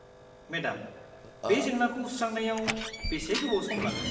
Madam, बे जेंनाखौ सुस्रांनायाव बेसे गोबाव सम लागोन?